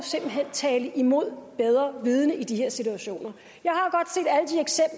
tale imod bedre vidende i de her situationer